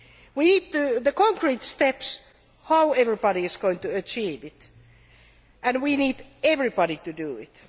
We need concrete steps on how everybody is going to achieve this and we need everybody to do it.